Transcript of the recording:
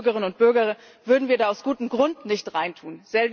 EU Bürgerinnen und Bürger würden wir da aus gutem Grund nicht reintun.